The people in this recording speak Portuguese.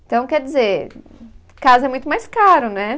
Então, quer dizer, casa é muito mais caro, né?